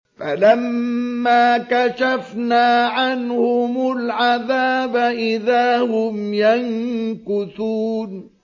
فَلَمَّا كَشَفْنَا عَنْهُمُ الْعَذَابَ إِذَا هُمْ يَنكُثُونَ